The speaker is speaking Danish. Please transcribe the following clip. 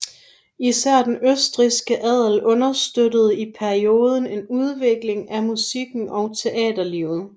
Især den østrigske adel understøttede i perioden en udvikling af musikken og teaterlivet